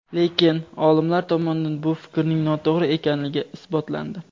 Lekin, olimlar tomonidan bu fikrning noto‘g‘ri ekanligi isbotlandi.